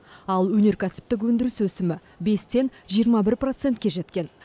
ал өнеркәсіптік өндіріс өсімі бестен жиырма бір процентке жеткен